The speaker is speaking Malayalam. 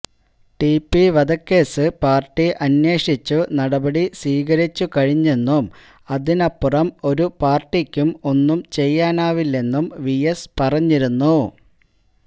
ടി പി വധക്കേസ് പാര്ട്ടി അന്വേശിച്ചു നടപടി സ്വീകരിച്ചുകഴിഞ്ഞെന്നും അതിനപ്പുറം ഒരു പാര്ട്ടിക്കും ഒന്നും ചെയ്യാനാവില്ലെന്നും വി എസ് പറഞ്ഞിരുന്നു